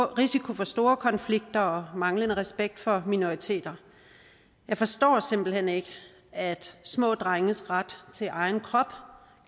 risiko for store konflikter og manglende respekt for minoriteter jeg forstår simpelt hen ikke at små drenges ret til egen krop